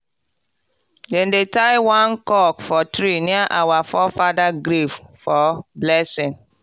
dem tie one cock for tree near our forefather grave for blessing.